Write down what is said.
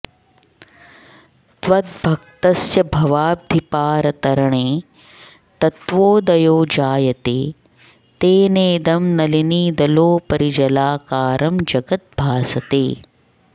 त्वद्भक्तस्य भवाब्धिपारतरणे तत्त्वोदयो जायते तेनेदं नलिनीदलोपरि जलाकारं जगद् भासते